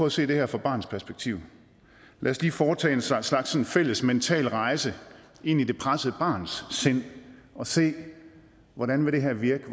at se det her fra barnets perspektiv lad os lige foretage en slags slags fælles mental rejse ind i det pressede barns sind og se hvordan det her vil virke